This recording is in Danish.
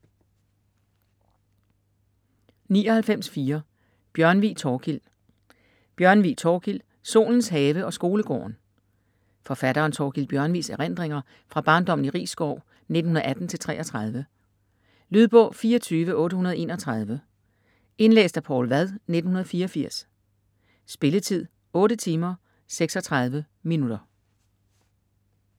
99.4 Bjørnvig, Thorkild Bjørnvig, Thorkild: Solens have og skolegården Forfatteren Thorkild Bjørnvigs erindringer fra barndommen i Risskov 1918-1933. Lydbog 24831 Indlæst af Poul Vad, 1984. Spilletid: 8 timer, 36 minutter.